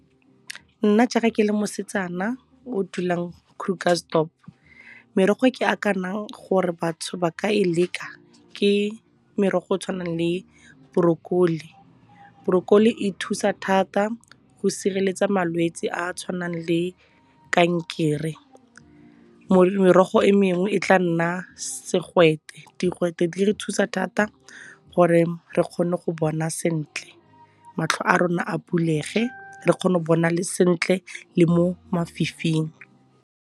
Nna jaaka ke le mosetsana o dulang Krugersdorp, merogo e ke gore batho ba ka e leka ke merogo e tshwanang le borokoli. Borokoli e thusa thata go sireletsa malwetse a a tshwanang le kankere. Merogo e mengwe e tla nna segwete, digwete di re thusa thata gore re kgone go bona sentle, matlho a rona a bulege re kgone go bona le sentle le mo mafifing.